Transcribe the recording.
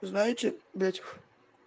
знаете блять